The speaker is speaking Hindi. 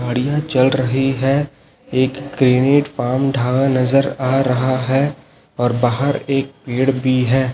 गाड़ियां चल रही है एक ग्रेनिट फार्म ढा नजर आ रहा है और बाहर एक पेड़ भी है।